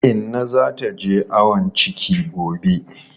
Inna za ta je ayon ciki gobe.